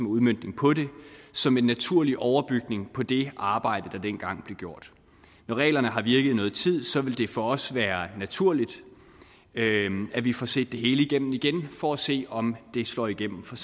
udmøntning på det som en naturlig overbygning på det arbejde der dengang blev gjort når reglerne har virket i noget tid vil det for os være naturligt at vi får set det hele igennem igen for at se om det slår igennem for